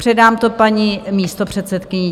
Předám to paní místopředsedkyni.